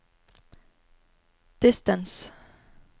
distance